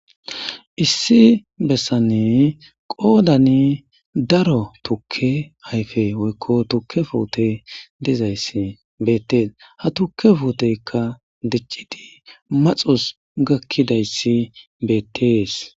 issi bessanne qoodani daro tukke hayfe woykko tukke foote dizayssi beettes ha tukke fuuteykka diccidi maxus gakkidayssi beettees